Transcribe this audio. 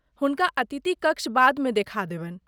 हुनका अतिथि कक्ष बादमे देखा देबनि।